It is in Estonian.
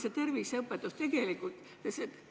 Kuidas terviseõpetusega tegelikult lood on?